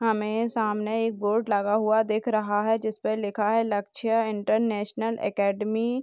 हमें सामने बोर्ड लगा हुआ दिख रहा है जिस पर लिखा है लक्ष्य इंटरनेशनल एकेडमी ।